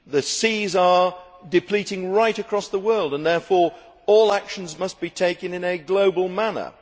The seas are depleting right across the world and therefore all actions must be taken in a global manner.